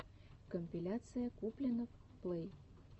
компиляция куплинов плэй